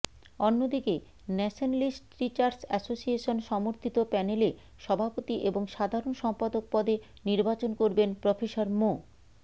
অন্যদিকে nationalist teachers association সমর্থিত প্যানেলে সভাপতি এবং সাধারণ সম্পাদক পদে নির্বাচন করবেন প্রফেসর মো